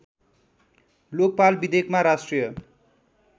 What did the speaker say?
लोकपाल विधेयकमा राष्ट्रिय